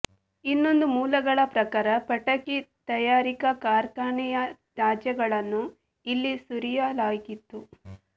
ಇನ್ನೊಂದು ಮೂಲಗಳ ಪ್ರಕಾರ ಪಟಾಕಿ ತಯಾರಿಕಾ ಕಾರ್ಖಾನೆಯ ತ್ಯಾಜ್ಯಗಳನ್ನು ಇಲ್ಲಿ ಸುರಿಯಲಾಗಿತ್ತು